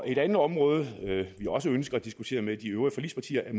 et andet område vi også ønsker at diskutere med de øvrige forligspartier er